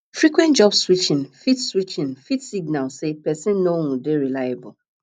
frequent job switching fit switching fit signal sey person no um dey reliable